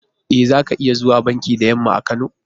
E, za ka iya zuwa banki da yamma a Kano.